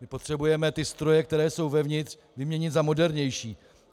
My potřebujeme ty stroje, které jsou uvnitř, vyměnit za modernější.